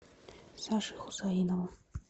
саше хусаинову